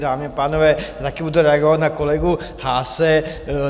Dámy a pánové, také budu reagovat na kolegu Haase.